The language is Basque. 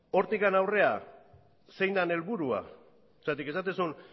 hortik aurrera zein den helburua zergatik esaten du